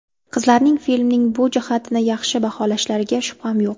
Qizlarning filmning bu jihatini yaxshi baholashlariga shubham yo‘q.